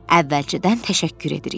Əvvəlcədən təşəkkür edirik.